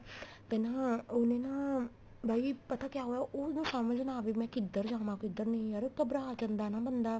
ਤੇ ਨਾ ਉਹਨੇ ਨਾ ਬਾਈ ਪਤਾ ਕਿਆ ਹੋਇਆ ਉਹ ਨਾ ਸਮਝ ਨਾ ਆਵੇ ਮੈਂ ਕਿੱਧਰ ਜਾਵਾ ਕਿੱਧਰ ਨਹੀਂ ਯਾਰ ਘਬਰਾ ਜਾਂਦਾ ਏ ਨਾ ਬੰਦਾ